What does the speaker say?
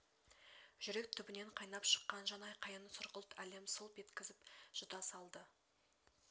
жүрек түбінен қайнап шыққан жан айқайын сұрғылт әлем сылп еткізіп жұта салды